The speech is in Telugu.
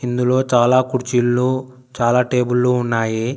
ఇందులో చాలా కుర్చీలు చాలా టేబులు ఉన్నాయి.